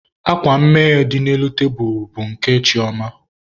Akwa mme dị n'elu tebulubụ nke Chioma.